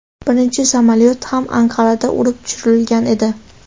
Birinchi samolyot ham Anqarada urib tushirilgan edi.